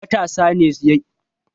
Matasa ne yawan ci suke haɗuwa a gidan giya